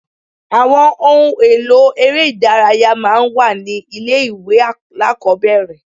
Àwọn ohun èlò eré ìdárayá máa ń wà ní ilé ìwé alákọ̀ọ́bẹ̀rẹ̀.